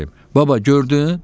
Baba, gördün?